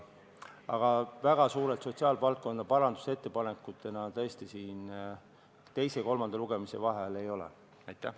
Aga väga suuri sotsiaalvaldkonna parandusettepanekuid tõesti teise ja kolmanda lugemise vahel ei ole esitatud.